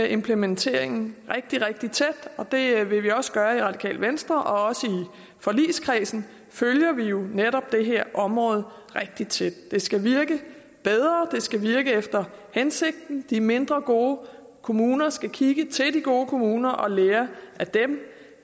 implementeringen rigtig rigtig tæt og det vil vi også gøre i radikale venstre også i forligskredsen følger vi netop det her område rigtig tæt det skal virke bedre det skal virke efter hensigten de mindre gode kommuner skal kigge til de gode kommuner og lære